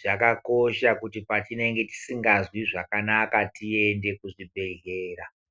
zvakakosha kuti patinenge tisingazwi zvakanaka tiende kuzvibhehlera .